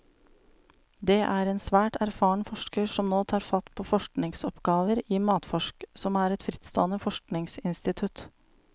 Det er en svært erfaren forsker som nå tar fatt på forskningsoppgaver i matforsk, som er et frittstående forskningsinstitutt.